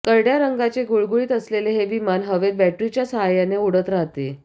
करडय़ा रंगाचे गुळगुळीत असलेले हे विमान हवेत बॅटरीच्या साहाय्याने उडत राहते